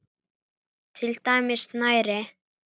Til dæmis snæri.